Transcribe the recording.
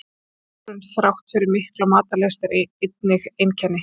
Megrun þrátt fyrir mikla matarlyst er einnig einkenni.